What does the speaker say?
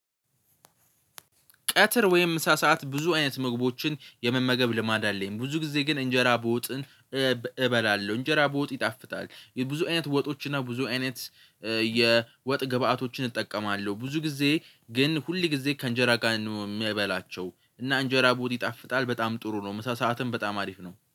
ቀትር ወይም ምሳ ሰዓት ብዙ አይነት ምግቦችን የመመገብ ልማድ አለኝ። ብዙ ጊዜ ግን እንጀራ በወጥን እበላለሁ። እንጀራ በወጥ ይጣፍታል። ብዙ አይነት ወጦች እና ብዙ አይነት የወጥ ግብኣቶችን እጠቀማለሁ። ብዙ ጊዜ ግን ሁሉ ጊዜ ከእንጀራ ጋር ነው ምበላቸው። እና እንጀራ በወጥ ይጣፍጣል በጣም ጥሩ ነው። ምሳ ሰዓትን በጣም አሪፍ ነው።